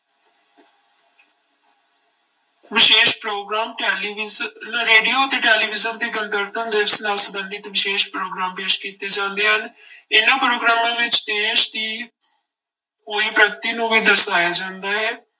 ਵਿਸ਼ੇਸ਼ programme television, radio ਅਤੇ television ਤੇ ਗਣਤੰਤਰ ਦਿਵਸ ਨਾਲ ਸੰਬੰਧਿਤ ਵਿਸ਼ੇਸ਼ ਪ੍ਰੋਗਰਾਮ ਪੇਸ ਕੀਤੇ ਜਾਂਦੇ ਹਨ ਇਹਨਾਂ ਪ੍ਰੋਗਰਾਮਾਂ ਵਿੱਚ ਦੇਸ ਦੀ ਹੋਈ ਪ੍ਰਗਤੀ ਨੂੂੰ ਵੀ ਦਰਸਾਇਆ ਜਾਂਦਾ ਹੈ।